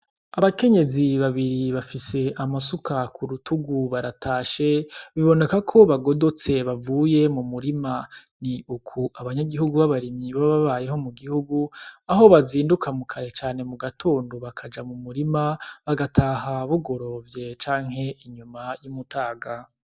Abakenyezi babiri bafise amasuka k'urutugu baratashe biboneka ko bagodotse bavuye mumurima ni uku abanyagihugu babarimyi baba babayeho m'ugihugu aho bazinduka kare cane mugatondo bakaja mumurima bagataha bugorovye canke inyuma y'umutaga.